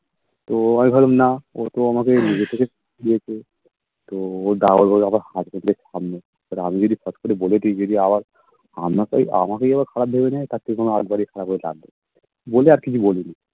তো আমি ভাবলাম না ও তো আমাকে নিজে থেকে দিয়েছে তো ও যা বলে আবার husband এর সামনে এবার আমি যদি ফট করে বলে দিই যদি আবার আমাকে আমাকেই যদি খারাপ ভেবে নেয় তার থেকে আগ বাড়িয়ে খারাপ হয়ে লাভ নেই বলে আর কিছু বলি নি